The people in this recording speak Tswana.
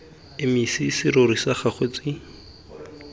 emise serori sa gago tsi